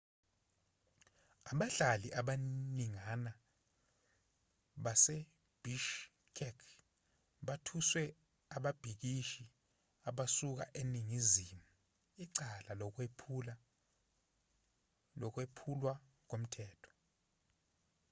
abahlali abaningana basebishkek bathwese ababhikishi abasuka eningizimu icala lokwephulwa komthetho